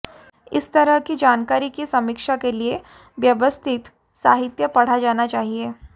इस तरह की जानकारी की समीक्षा के लिए व्यवस्थित साहित्य पढ़ा जाना चाहिए